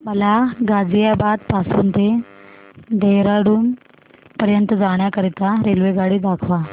मला गाझियाबाद पासून ते देहराडून पर्यंत जाण्या करीता रेल्वेगाडी दाखवा